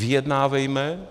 Vyjednávejme!